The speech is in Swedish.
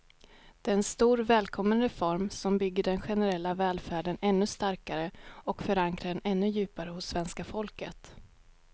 Det är en stor, välkommen reform som bygger den generella välfärden ännu starkare och förankrar den ännu djupare hos svenska folket.